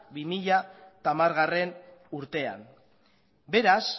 bi mila hamargarrena urtean beraz